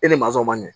E ni masɔnw man ɲɛ